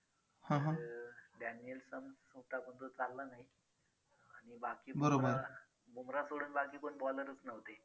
daniel sams होता कोण तो चालला नाही आणि बाकी मग बुमराह सोडून बाकी कोण bowler च नव्हते.